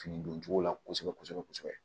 Fini don cogo la kosɛbɛ kosɛbɛ kosɛbɛ